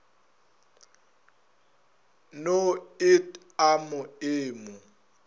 no et a ma emo